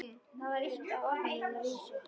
Þetta var eitt af orðunum hennar Lísu.